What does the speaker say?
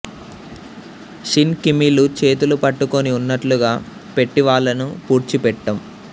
Shin కిమీలు చేతులు పట్టుకుని ఉన్నట్లుగా పెట్టి వాళ్ళను పూడ్చిపెట్టాం